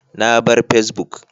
Na bar Facebook